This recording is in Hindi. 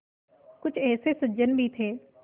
कुछ ऐसे सज्जन भी थे